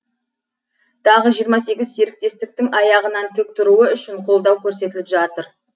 тағы жиырма сегіз серіктестіктің аяғынан тік тұруы үшін қолдау көрсетіліп жатыр